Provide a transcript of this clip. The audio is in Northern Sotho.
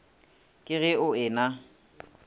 ke ge o e na